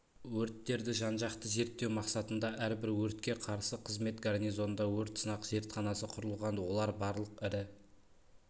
өрттерді жан-жақты зерттеу мақсатында әрбір өртке қарсы қызмет гарнизонында өрт сынақ зертханасы құрылған олар барлық ірі